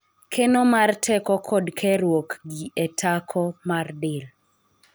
keno mar teko kod keruok gi e tako mar del